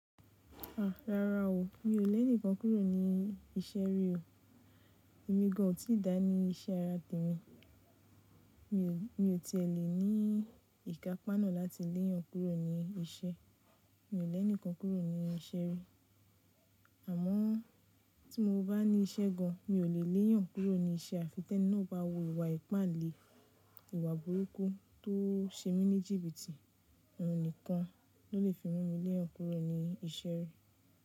Rárá o, mi ò lẹ́ni kan kúrò ní iṣẹ́ rí o. Èmi gan an ò tíì dá ní iṣẹ́ ara tèmi. Mi ò ti è lè ní ìkapá nà láti léyàn kúrò ní iṣẹ́. Mi ò lẹ́ni kan kúrò ní iṣẹ́ rí. Àmọ́ tí mo bá ní iṣẹ́ gan, mi ò lè léyàn kúrò ní iṣẹ́ àfi tẹ́ní náà bá wu ìwà ìpáǹle, ìwà burúkú tó ń ṣe mí ní jìbìtì. Ọ̀un nìkan ló lè fi mú mi léyàn kúrò ní iṣẹ́ rí.